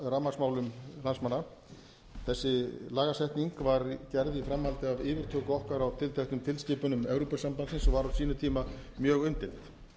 rafmagnsmálum landsmanna þessi lagasetning var gerð í framhaldi af yfirtöku okkar á tilteknum tilskipunum evrópusambandsins og var á sínum tíma mjög umdeild